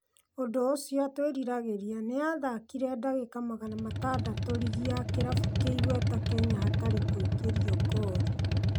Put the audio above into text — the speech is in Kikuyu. ũndũũcio twĩriragĩria. Nĩ athakire. dagĩka magana matandatũrigi ya kĩrabu kĩigweta Kenya hatarĩ kũingĩrio ngoru.